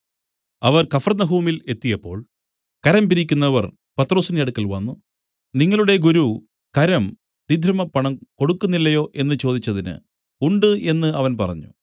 അവർ കഫർന്നഹൂമിൽ എത്തിയപ്പോൾ കരം പിരിക്കുന്നവർ പത്രൊസിന്റെ അടുക്കൽ വന്നു നിങ്ങളുടെ ഗുരു കരം ദ്വിദ്രഹ്മപ്പണം കൊടുക്കുന്നില്ലയോ എന്നു ചോദിച്ചതിന് ഉണ്ട് എന്നു അവൻ പറഞ്ഞു